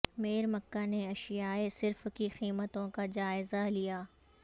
میئرمکہ نے اشیائے صرف کی قیمتوں کا جا ئزہ لیا